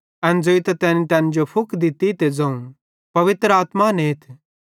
एन ज़ोइतां तैनी तैन जो फुक दित्ती ते ज़ोवं पवित्र आत्मा नेथ